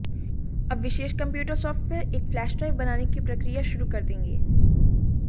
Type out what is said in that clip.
अब विशेष computer software एक फ्लैश ड्राइव बनाने की प्रक्रिया शुरू कर देंगे